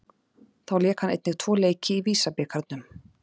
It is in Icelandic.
Þá lék hann einnig tvo leiki í VISA-bikarnum.